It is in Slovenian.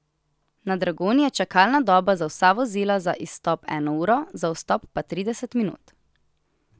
Na Dragonji je čakalna doba za vsa vozila za izstop eno uro, za vstop pa trideset minut.